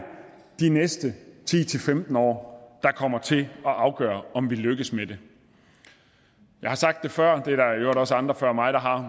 de næste ti til femten år der kommer til at afgøre om vi lykkes med det jeg har sagt det før og også andre før mig der har